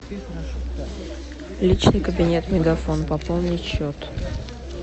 личный кабинет мегафон пополнить счет